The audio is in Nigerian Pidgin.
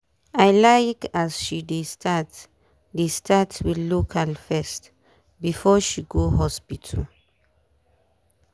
i like as she dey start dey start with local first before she go hospital.